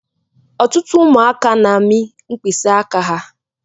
Ọtụtụ ụmụaka n'ami mkpịsị áká ha.